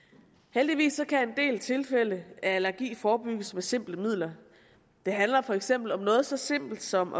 heldigvis kan en del tilfælde af allergi forebygges med simple midler det handler for eksempel om noget så simpelt som